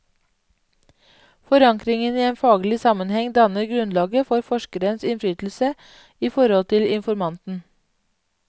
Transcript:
Forankringen i en faglig sammenheng danner grunnlaget for forskerens innflytelse i forhold til informanten.